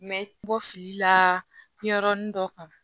N bɛ bɔ fili la ɲɛyɔrɔnin dɔ kan